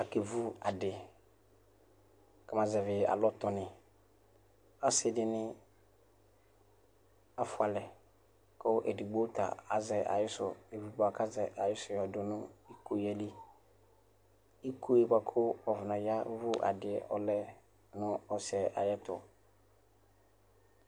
Akevʋ adi kʋ ama azɛvi alɔtɔni ɔsi dini afʋalɛ kʋ edigbo ta evʋ bʋa kʋ azɛ ayisʋ yɔ dʋnʋ iko yɛli iko yɛ bʋakʋ wakɔ naya vʋ adi yɛ ɔlɛ nʋ ɔsiyɛ ayʋ ɛtʋ